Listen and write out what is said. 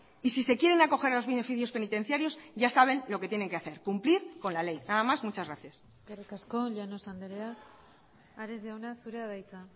y si se quieren acoger a los beneficios penitenciarios ya saben lo que tienen que hacer cumplir con la ley nada más muchas gracias eskerrik asko llanos andrea ares jauna zurea da hitza